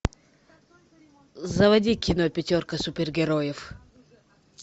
заводи кино пятерка супергероев